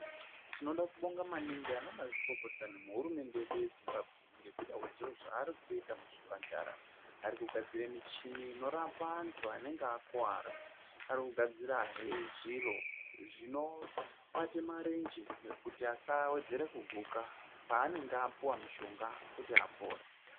Tinoda kubonga maningi ana mazvikokota nehurumende yedu yezimbabwe kwezvaari kuita muzvipatara Ari kugadzira muchini inorapa antu anenge akuwara arikugazirahe zviro zvinobata marenje kuti asawedzera kuguka panenge apuwa mushonga kuti apore.